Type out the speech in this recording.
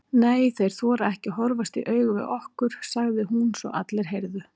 Nei, þeir þora ekki að horfast í augu við okkur, sagði hún svo allir heyrðu.